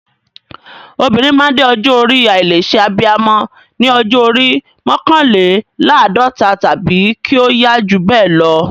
Obìnrin máa ń dé ọjọ́ orí àìlè ṣe abiyamọ ní ọjọ́ orí mọ́kànléláàdọ́ta tàbí kí ó yá jù bẹ́ẹ̀ lọ.